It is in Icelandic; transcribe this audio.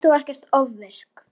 Ert þú ekkert ofvirk?